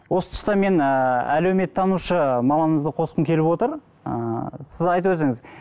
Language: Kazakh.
осы тұста мен ыыы әлеуметтанушы маманымызды қосқым келіп отыр ыыы сіз айтып өтсеңіз